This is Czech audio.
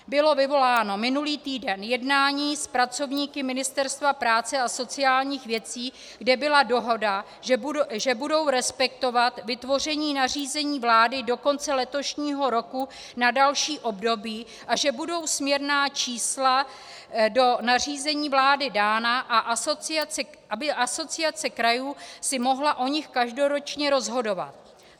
Bylo vyvoláno minulý týden jednání s pracovníky Ministerstva práce a sociálních věcí, kde byla dohoda, že budou respektovat vytvoření nařízení vlády do konce letošního roku na další období a že budou směrná čísla do nařízení vlády dána, aby Asociace krajů si mohla o nich každoročně rozhodovat.